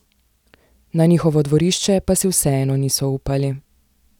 Na njihovo dvorišče pa si vseeno niso upali.